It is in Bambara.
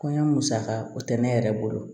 Kɔɲɔ musaka o tɛ ne yɛrɛ bolo